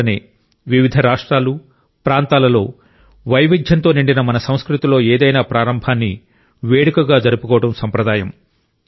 అందువల్లనే వివిధ రాష్ట్రాలు ప్రాంతాలలో వైవిధ్యంతో నిండిన మన సంస్కృతిలో ఏదైనా ప్రారంభాన్ని వేడుకగా జరుపుకోవడం సంప్రదాయం